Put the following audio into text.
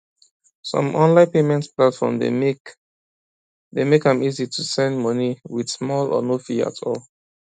some online payment platform dey make dey make am easy to send money with small or no fee at all